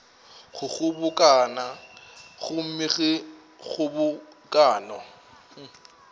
go kgobokano gomme ge kgobokano